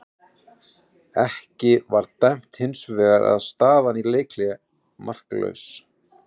Ekkert var dæmt hins vegar og staðan í leikhléi markalaus.